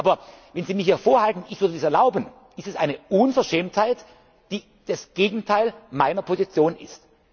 Aber wenn Sie mir hier vorhalten, ich würde das erlauben, ist das eine Unverschämtheit, die das Gegenteil meiner Position